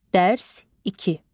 Dərs iki.